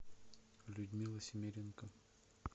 людмила семеренко